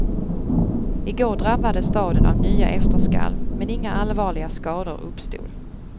I går drabbades staden av nya efterskalv, men inga allvarliga skador uppstod.